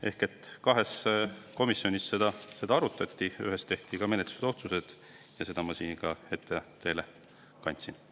Ehk siis kahel komisjoni istungil seda arutati ja ühel tehti ka menetlusotsused, mis ma siin teile ette kandsin.